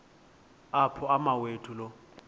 apho umawethu lo